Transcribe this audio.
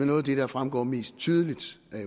noget af det der fremgår mest tydeligt af